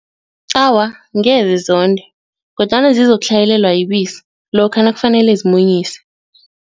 Awa, ngeze zonde kodwana zizokutlhayelelwa yibisi lokha nakufanele zimunyise.